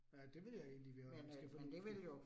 Ja, det ville jo egentlig være ganske fornuftigt